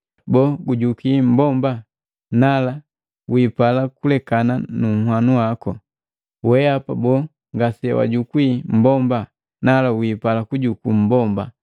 Boo, gujukwii mmbomba? Nala, wiipala kulekana nunhwanu waku. Weapa boo ngasewajukwii mmbomba? Nala, wiipala kujuku mmbomba.